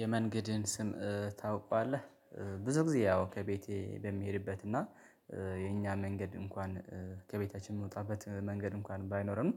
የመንገድን ስም ታውቃለህ? ብዙ ጊዜ ያው ከቤቴ በሚሄድበትና እና የኛ መንገድ እንኳን ከቤታችን የምወጣበት መንገድ እንኳን ባይኖርም